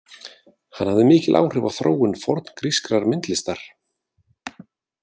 Hann hafði mikil áhrif á þróun forngrískrar myndlistar.